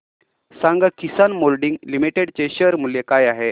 सांगा Kisan moulding limited चे share मूल्य काय आहे